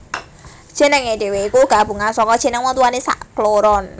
Jenengé dhewe iku gabungan saka jeneng wong tuwané sakloron